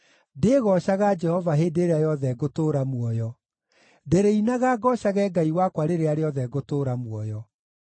Ndĩgoocaga Jehova hĩndĩ ĩrĩa yothe ngũtũũra muoyo; ndĩrĩinaga, ngoocage Ngai wakwa rĩrĩa rĩothe ngũtũũra muoyo.